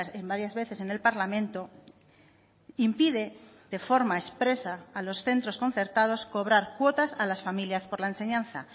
en varias veces en el parlamento impide de forma expresa a los centros concertados cobrar cuotas a las familias por la enseñanza